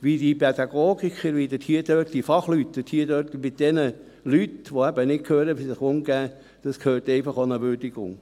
Wie die Pädagogen und Fachleute mit den Menschen, die nicht hören, umgehen, bedarf einer Würdigung.